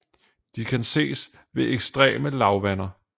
De kan ses ved ekstreme lavvander